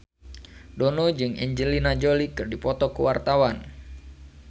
Dono jeung Angelina Jolie keur dipoto ku wartawan